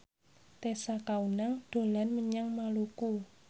Tessa Kaunang dolan menyang Maluku